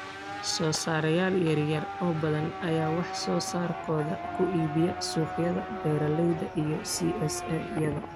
Soo saarayaal yar yar oo badan ayaa wax soo saarkooda ku iibiya suuqyada beeralayda iyo CSA-yada.